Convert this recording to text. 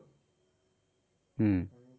হম